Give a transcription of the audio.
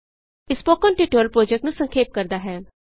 ਇਹ spoken tutorial project ਨੂੰ ਸੰਖੇਪ ਕਰਦਾ ਹੈ